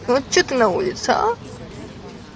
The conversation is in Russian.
вот что ты на улице а